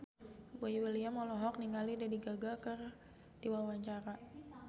Boy William olohok ningali Lady Gaga keur diwawancara